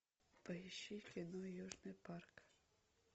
поищи кино южный парк